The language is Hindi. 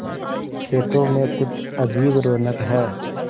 खेतों में कुछ अजीब रौनक है